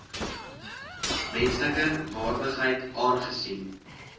menslike waardigheid aangesien